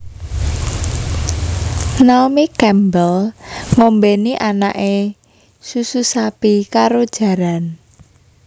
Naomi Campbell ngombeni anake susu sapi karo jaran